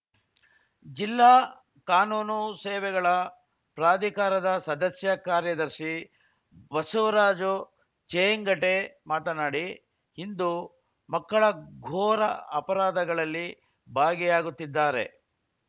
ಜಿಲ್ಲಾ ಕಾನೂನು ಸೇವೆಗಳ ಪ್ರಾಧಿಕಾರದ ಸದಸ್ಯ ಕಾರ್ಯದರ್ಶಿ ಬಸವರಾಜು ಚೇಂಗಟೆ ಮಾತನಾಡಿ ಇಂದು ಮಕ್ಕಳ ಘೋರ ಅಪರಾಧಗಳಲ್ಲಿ ಭಾಗಿಯಾಗುತ್ತಿದ್ದಾರೆ